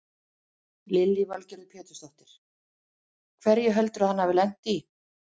Lillý Valgerður Pétursdóttir: Hverju heldurðu að hann hafi lent í?